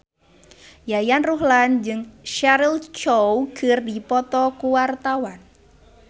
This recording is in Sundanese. Yayan Ruhlan jeung Cheryl Crow keur dipoto ku wartawan